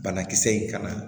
Banakisɛ in kana